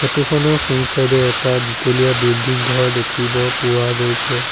Photo খনৰ সোঁ side এ এটা দুতলীয়া বিল্ডিং ঘৰ দেখিব পোৱা গৈছে।